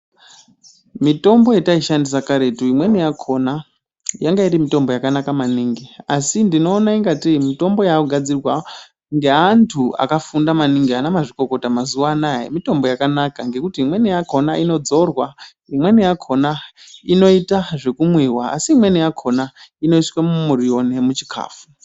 Mitombo yataishandisa karetu imweni yakhona yanga iri mitombo yakanaka maningi asi ndinoona ingatei mitombo yakugadzirwa ngeantu akafunda maningi ana mazvikokota mazuwa anaya mitombo yakanaka ngekuti imweni yakhona inodzorwa, imweni yakhona inoita zvekumwiwa asi imweni yakhona inoiswa mumuriwo nemuchikafu.